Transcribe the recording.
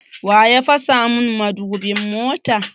Wa ya fasa mun mudubin mota?